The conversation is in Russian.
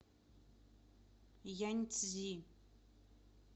яньцзи